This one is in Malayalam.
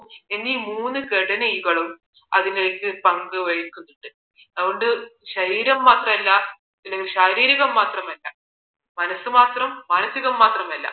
എന്നീ മൂന്ന് ഘടകങ്ങളും അതിലേക്ക് പങ്ക് വഹിക്കുന്നുണ്ട് അതുകൊണ്ട് ശരീരം മാത്രമല്ല അല്ലെങ്കിൽ ശാരീരികം മാത്രമല്ല മനസ്സ് മാത്രം മാനസികം മാത്രമല്ല